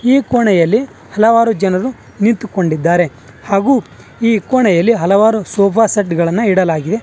ಈ ಕೊಣೆಯಲ್ಲಿ ಹಲವಾರು ಜನರು ನಿಂತುಕೊಂಡಿದ್ದಾರೆ ಹಾಗೂ ಈ ಕೋಣೆಯಲ್ಲಿ ಹಲವಾರು ಸೋಫಾ ಸೆಟ್ ಗಳನ್ನು ಇಡಲಾಗಿದೆ.